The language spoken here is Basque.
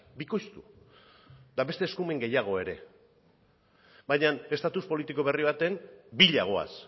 bikoiztu eta beste eskumen gehiago ere baina estatus politiko berri baten bila goaz